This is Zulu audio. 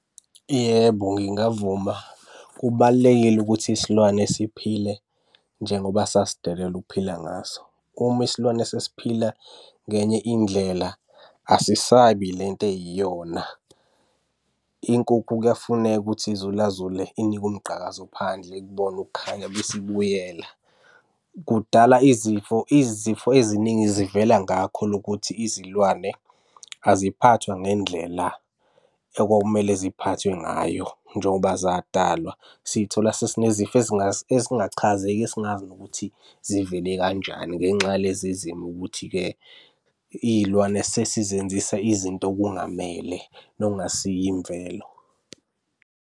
Yebo, ngingavuma. Kubalulekile ukuthi isilwane siphile njengoba sasidalelwe ukuphila ngaso. Uma isilwane sesiphila ngenye indlela, asisabi le nto eyiyona. Inkukhu kuyafuneka ukuthi izulazule inikwe umgqakazo phandle ikubone ukukhanya bese ibuyela. Kudala izifo, izifo eziningi zivela ngakho lokhu ukuthi izilwane aziphathwa ngendlela ekwakumele ziphathwe ngayo njengoba zadalwa. Siy'thola sesinezifo ezingachazeki esingazi nokuthi zivele kanjani ngenxa yalezi zimo ukuthi-ke iy'lwane sesizenzisa izinto okungamele nokungasiyo imvelo.